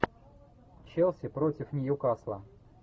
челси против ньюкасла